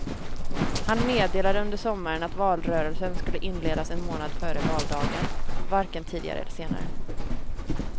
Han meddelade under sommaren att valrörelsen skulle inledas en månad före valdagen, varken tidigare eller senare.